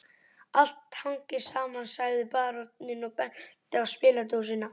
Allt hangir saman, sagði baróninn og benti á spiladósina